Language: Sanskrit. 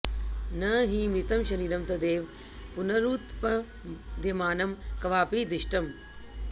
न हि मृतं शरीरं तदेव पुनरुत्पद्यमानं क्वापि दृष्टम्